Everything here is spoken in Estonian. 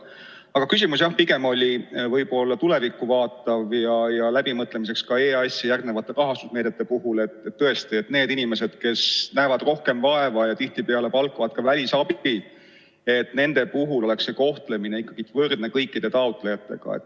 Aga küsimus oli jah võib-olla pigem tulevikku vaatav ja läbimõtlemiseks EAS-i järgmiste rahastusmeetmete puhul, et tõesti neid inimesi, kes näevad rohkem vaeva ja tihtipeale palkavad ka välisabi, koheldaks ikkagi võrdselt kõikide teiste taotlejatega.